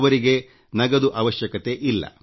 ಅವರಿಗೆ ನಗದು ಅವಶ್ಯಕತೆ ಇಲ್ಲ